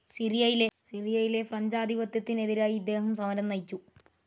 സിറിയയിലെ ഫ്രഞ്ച്‌ ആധിപത്യത്തിനെതിരായി ഇദ്ദേഹം സമരം നയിച്ചു.